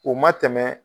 O ma tɛmɛ